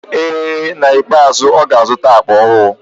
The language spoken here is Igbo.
Ee, n'ikpeazụ ọ ga-azụta akpa ahụ.